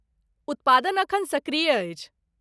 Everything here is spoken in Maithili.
उत्पादन एखन सक्रिय अछि।